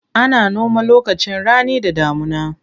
Ana noma lokacin rani da damuna.